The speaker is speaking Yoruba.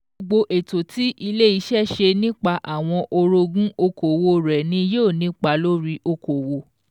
Gbogbo ètò tí ilé iṣẹ́ ṣe nípa àwọn orogún okòwò rẹ̀ ni yóò nípa lórí okòwò